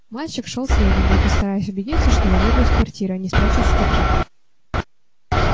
мальчик шёл следом будто стараясь убедиться что я выйду из квартиры а не спрячусь в шкафу